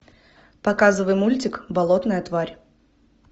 показывай мультик болотная тварь